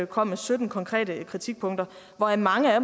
kom med sytten konkrete kritikpunkter hvoraf mange af